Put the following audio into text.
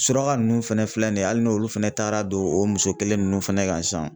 Suraka ninnu fɛnɛ filɛ nin ye hali n'olu fɛnɛ taara don o muso kelen ninnu fɛnɛ kan sisan